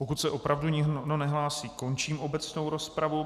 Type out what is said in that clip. Pokud se opravdu nikdo nehlásí, končím obecnou rozpravu.